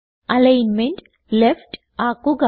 alignment left ആക്കുക